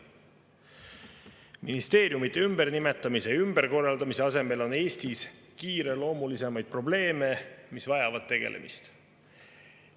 Ministeeriumide ümbernimetamise ja ümberkorraldamise asemel on Eestis kiireloomulisemaid probleeme, mis vajavad tegelemist.